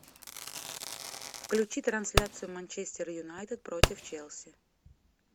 включи трансляцию манчестер юнайтед против челси